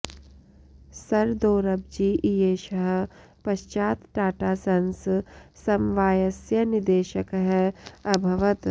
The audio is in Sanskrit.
सर् दोरब्जि इयेषः पश्चात् टाटा सन्स् समवायस्य निदेशकः अभवत्